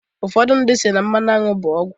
Ufọdụ ndị mmadu si na mmanụ aṅwụ bụ ọgwụ"